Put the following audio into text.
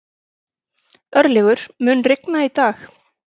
Örlygur, mun rigna í dag?